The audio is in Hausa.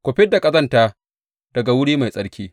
Ku fid da ƙazanta daga wuri mai tsarki.